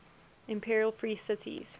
imperial free cities